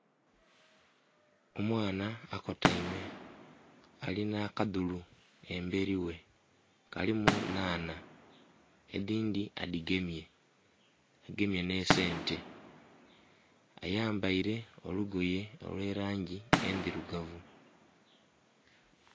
Omwana akotaime, alina akadhulu embeli ghe. Kalimu nhanha, edhindhi adhigemye, agemye nh'esente. Ayambaile olugoye olw'elangi endhilugavu.